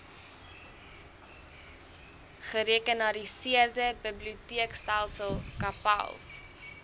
gerekenariseerde biblioteekstelsel cpals